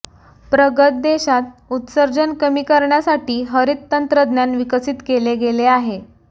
प्रगत देशांत उत्सर्जन कमी करण्यासाठी हरित तंत्रज्ञान विकसित केले गेले आहे